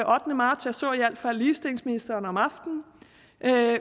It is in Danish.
ottende marts jeg så i hvert fald ligestillingsministeren om aftenen